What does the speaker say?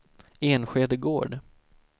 Enskede Gård